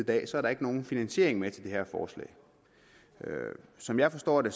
dag så er der ikke nogen finansiering med til det her forslag som jeg forstår det